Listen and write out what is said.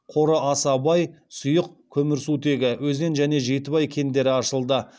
қоры аса бай сұйық көмірсутегі өзен және жетібай кендері ашылды